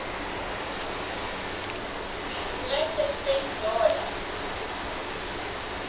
united states dollar